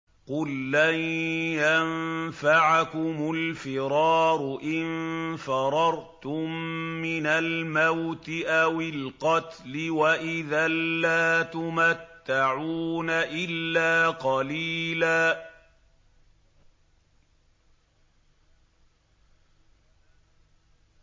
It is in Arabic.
قُل لَّن يَنفَعَكُمُ الْفِرَارُ إِن فَرَرْتُم مِّنَ الْمَوْتِ أَوِ الْقَتْلِ وَإِذًا لَّا تُمَتَّعُونَ إِلَّا قَلِيلًا